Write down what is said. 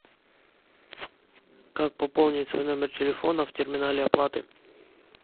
как пополнить свой номер телефона в терминале оплаты